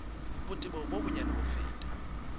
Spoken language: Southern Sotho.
botebo bo bonyane ho feta